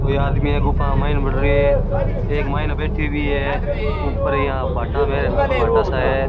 कोइ आदमी गुफा के मायने बढ़ रहे है एक मायने बैठो है ऊपर भाटा सा है।